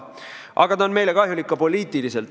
Aga ta on meile kahjulik ka poliitiliselt.